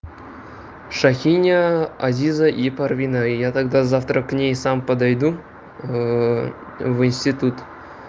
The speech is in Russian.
шахиня азиза и парвина и я тогда завтра к ней сам подойду в институт